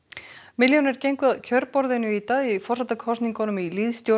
milljónir gengu að kjörborðinu í dag í forsetakosningunum í